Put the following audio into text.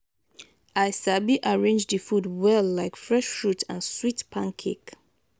i sabi arrange the food well like fresh fruit and sweet pancake.